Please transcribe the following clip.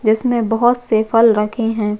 जिसमे बहोत से फल रखे है।